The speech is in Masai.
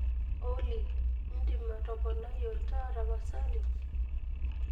olly idim atoponai olntaa tapasali